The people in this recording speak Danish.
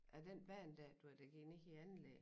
Af den bane dér du ved der går ned i anlæg